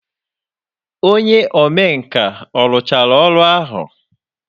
Onye omenkà ọ rụchara ọrụ ahụ?